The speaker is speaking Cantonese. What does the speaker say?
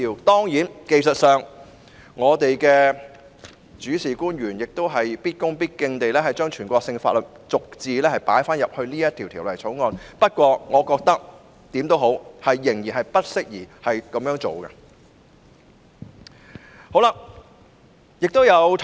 當然，技術上，我們的主事官員要必恭必敬地把全國性法律逐字加入《條例草案》內，不過我覺得，無論如何，這樣做仍然不適宜。